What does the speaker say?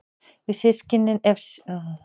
Ef systkini eignast börn verða þá börnin fötluð?